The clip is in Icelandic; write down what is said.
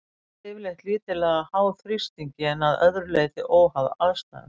Það er yfirleitt lítillega háð þrýstingi en að öðru leyti óháð aðstæðum.